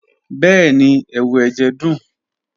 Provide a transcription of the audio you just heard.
Bẹẹni, ẹwu ẹjẹ dun.